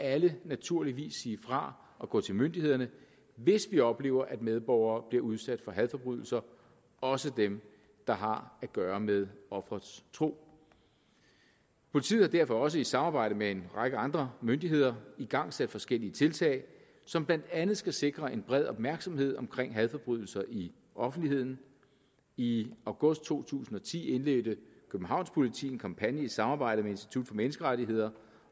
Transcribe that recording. alle naturligvis sige fra og gå til myndighederne hvis vi oplever at medborgere bliver udsat for hadforbrydelser også dem der har at gøre med offerets tro politiet har derfor også i samarbejde med en række andre myndigheder igangsat forskellige tiltag som blandt andet skal sikre en bred opmærksomhed omkring hadforbrydelser i offentligheden i august to tusind og ti indledte københavns politi en kampagne i samarbejde med institut for menneskerettigheder